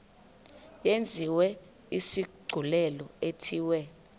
yenziwe isigculelo ithiwe